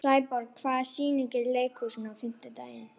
Sæborg, hvaða sýningar eru í leikhúsinu á fimmtudaginn?